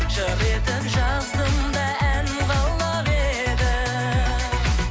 жыр етіп жаздым да ән қылып едім